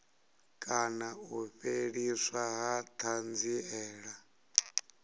kana u fheliswa ha thanziela